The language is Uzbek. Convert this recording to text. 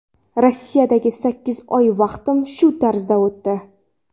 Rossiyadagi sakkiz oy vaqtim shu tarzda o‘tdi.